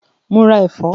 Mo ra ẹ̀fọ́?